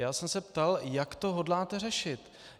Já jsem se ptal, jak to hodláte řešit.